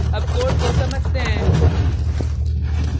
अब कोड को समझते हैं